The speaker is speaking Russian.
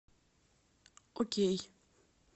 окей